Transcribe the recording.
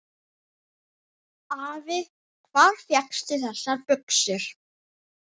Afi, hvar fékkstu þessar buxur?